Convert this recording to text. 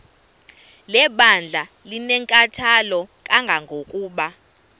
lebandla linenkathalo kangangokuba